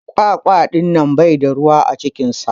kwakwa dinnan Bai da ruwa a cikinsa.